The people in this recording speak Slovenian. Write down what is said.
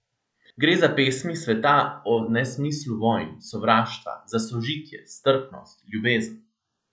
Gre za pesmi sveta o nesmislu vojn, sovraštva, za sožitje, strpnost, ljubezen.